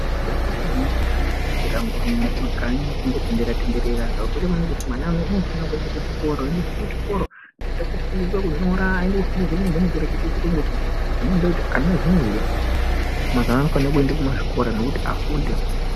Zvakakosha maningi kuti ana asaswera angori mumakanyi achingotenderera-tenderera. Zvakakosha maningi kuti mwana unofane kuende kuchikoro. Aende kuchikoro oenda koonofundiswa kunyora oende koofundiswa nyangwe nekurekete chiyungu chino. Zvino ndinoti ana azvinezvika, mazuvano anofane kuende kumazvikora, nekuti afunde.